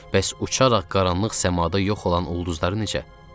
Bəs uçaraq qaranlıq səmada yox olan ulduzları necə?